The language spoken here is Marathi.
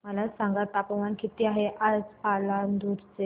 मला सांगा तापमान किती आहे आज पालांदूर चे